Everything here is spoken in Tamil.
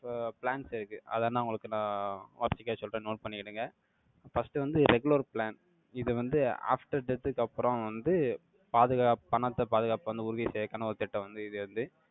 இப்போ plans இருக்கு. அதை, நான், உங்களுக்கு, நான், வரிசையா சொல்றேன், note பண்ணிக்கிடுங்க. First வந்து, regular plan இது வந்து, after death க்கு, அப்புறம் வந்து, பாதுகாப்~ பணத்தை, பாதுகாப்பு வந்து, உறுதி செய்ய, கனவு திட்டம் வந்து, இது வந்து